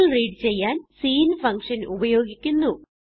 Cൽ read ചെയ്യാൻ സിങ്ട്ഗ്ട്ഗ്ട് function ഉപയോഗിക്കുന്നു